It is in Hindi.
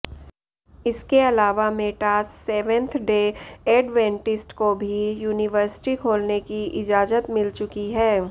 इसके अलावा मेटास सेवेंथ डे एडवेंटिस्ट को भी यूनिवर्सिटी खोलने की इजाजत मिल चुकी है